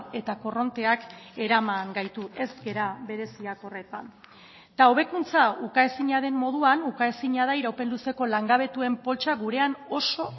eta korronteak eraman gaitu ez gara bereziak horretan eta hobekuntza ukaezina den moduan ukaezina da iraupen luzeko langabetuen poltsa gurean oso